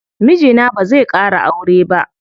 Mijina bazai ƙara aure ba.